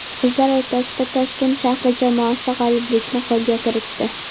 Qizlar o‘rtasida Toshkent shahri jamoasi g‘oliblikni qo‘lga kiritdi.